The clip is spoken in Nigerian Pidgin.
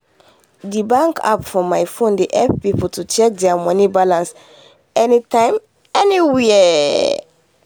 the bank app for phone dey help people to check their money balance anytime anywhere.